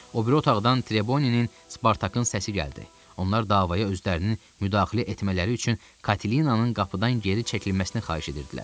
O biri otaqdan Treboninin, Spartakın səsi gəldi, onlar davaya özlərinin müdaxilə etmələri üçün Katlinanın qapıdan geri çəkilməsini xahiş edirdilər.